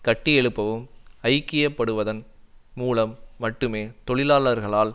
கட்டியெழுப்பவும் ஐக்கியப்படுவதன் மூலம் மட்டுமே தொழிலாளர்களால்